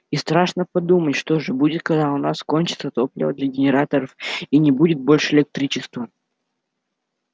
и страшно подумать что же будет когда у нас кончится топливо для генераторов и не будет больше электричества